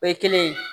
O ye kelen ye